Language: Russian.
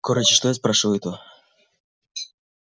короче что я спрашиваю-то